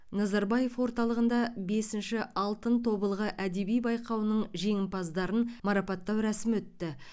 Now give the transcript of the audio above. назарбаев орталығында бесінші алтын тобылғы әдеби байқауының жеңімпаздарын марапаттау рәсімі өтті